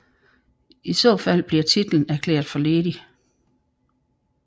I så fald bliver titlen erklæret for ledig